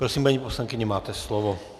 Prosím, paní poslankyně, máte slovo.